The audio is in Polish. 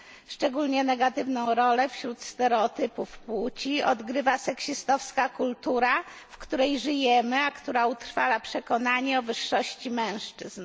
Szczególnie negatywną rolę wśród stereotypów płci odgrywa seksistowska kultura, w której żyjemy, a która utrwala przekonanie o wyższości mężczyzn.